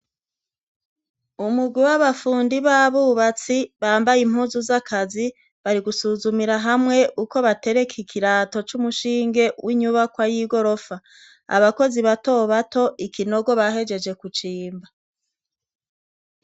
Umugwi w'abafundi b'abubatsi bambaye impuzu z'akazi bari gusuzumira hamwe uko batereka ikirato c'umushinge w'inyubakwa y'igorofa, abakozi bato bato ikinogo bahejeje kucimba.